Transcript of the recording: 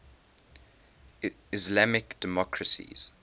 islamic democracies